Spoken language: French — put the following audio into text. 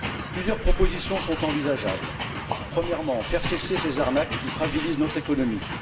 Plusieurs propositions sont envisageables premièrement, faire cesser ces arnaques qui fragilisent notre économie.